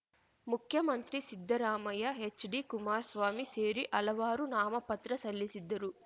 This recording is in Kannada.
ಮುಖ್ಯಮಂತ್ರಿ ಸಿದ್ದರಾಮಯ್ಯ ಹೆಚ್‌ಡಿಕುಮಾರ್ ಸ್ವಾಮಿ ಸೇರಿ ಹಲವಾರು ನಾಮಪತ್ರ ಸಲ್ಲಿಸಿದ್ದರು